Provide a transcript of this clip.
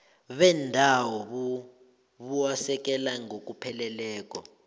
bendawo buwasekela ngokupheleleko